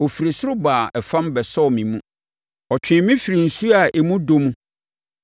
Ɔfiri ɔsoro baa ɛfam bɛsɔɔ me mu; ɔtwee me firii nsuo a emu dɔ mu.